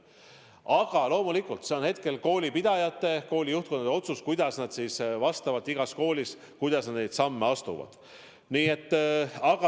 Aga loomulikult on hetkel koolipidajate, koolide juhtkondade otsus, mis samme nad oma koolis astuvad.